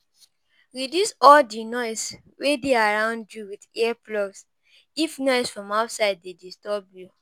Reduce all di noise wey dey around you with ear plugs if noise from outside dey disturb you